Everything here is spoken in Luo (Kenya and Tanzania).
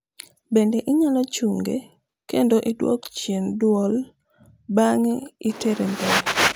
bende inyalo chunge kendo idwok chien duol bange itere mbele